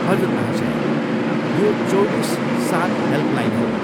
हजुर महाशया, यो चौबिस सात हेल्पलाइन हो।